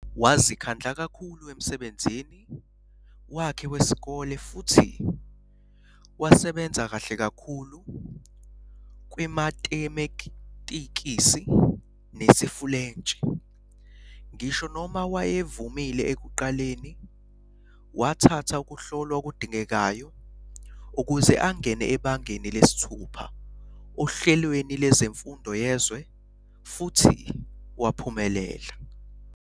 Wazikhandla kakhulu emsebenzini wakhe wesikole futhi wasebenza kahle kakhulu kwimatemetikisi nesiFulentshi. Ngisho noma wayevumile ekuqaleni, wathatha ukuhlolwa okudingekayo ukuze angene ebangeni lesithupha ohlelweni lwezemfundo yezwe futhi waphumelela.